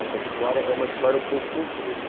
Essa história é uma história um pouco comprida.